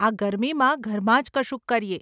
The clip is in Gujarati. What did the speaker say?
આ ગરમીમાં ઘરમાં જ કશુંક કરીએ.